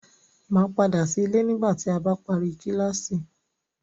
Màá padà sí ilé nígbà tí a bá parí kíláásì.